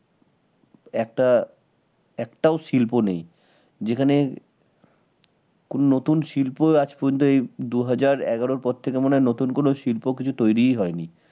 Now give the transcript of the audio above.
একটা একটাও শিল্প নেই যেখানে কোন নতুন শিল্প আজ পর্যন্ত এই দু হাজার এগারোর পর থেকে মনে হয় নতুন কোন শিল্প কিছু তৈরি হয়নি